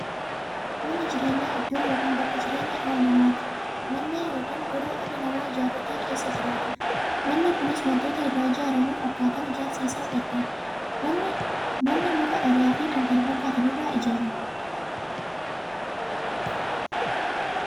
Manni jireenyaa iddoo yookiin bakka jireenya dhala namaati. Manni Mandhee yookiin godoo dhalli namaa ijaaratee keessa jiraatudha. Manni Kunis waantootni irraa ijaaramuufi akkaataan ijaarsa isaa gargar. Manni muka, dhagaafi kan kana fakkaatan irraa ijaarama.